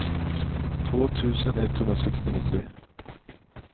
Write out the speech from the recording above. två tusen etthundrasextionio